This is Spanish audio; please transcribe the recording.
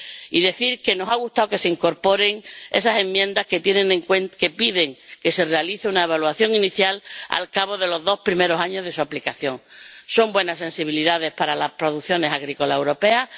Y decir que nos ha gustado que se incorporen esas enmiendas que piden que se realice una evaluación inicial al cabo de los dos primeros años de su aplicación. Son buenas sensibilidades para las producciones agrícolas europeas.